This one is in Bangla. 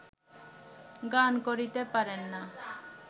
গান করিতে পারেন না